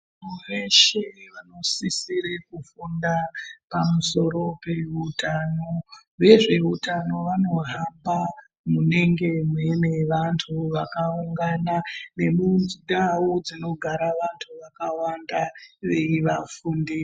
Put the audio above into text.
Muntu weshe unosisira kufunda pamusoro peutano vezveutano vanohamba munenge muine vantu vakaungana nemuntau dzinogara Vantu vakawanda veivafundisa.